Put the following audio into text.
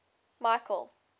michael